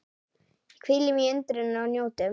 Hvílum í undrinu og njótum.